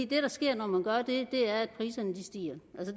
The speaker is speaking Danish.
det der sker når man gør det er at priserne stiger